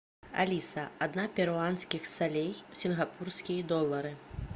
алиса одна перуанских солей в сингапурские доллары